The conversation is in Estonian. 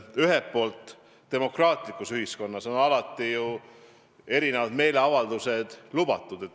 Ühelt poolt on demokraatlikus ühiskonnas erinevad meeleavaldused lubatud.